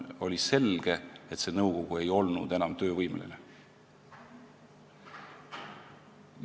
Oli selge, et nõukogu ei olnud enam töövõimeline.